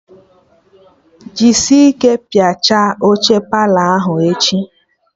Jisi ike piachaa oche Palọ ahụ echi!